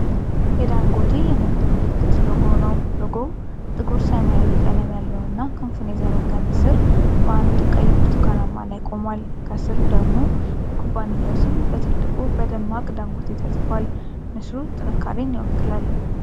የዳንጎቴ የንግድ ምልክት (ሎጎ) ነው። ሎጎው ጥቁር ሰማያዊ ቀለም ያለውና ክንፉን የዘረጋ ንስር በአንድ ቀይ-ብርቱካናማ ላይ ቆሟል ። ከስር ደግሞ የኩባንያው ስም በትልቁ፣ በደማቅ “ዳንጎቴ” ተጽፎአል። ንስሩ ጥንካሬን ይወክላል።